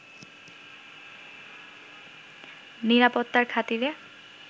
নিরাপত্তার খাতিরে